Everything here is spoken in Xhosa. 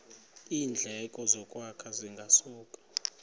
iindleko zokwakha zingasuka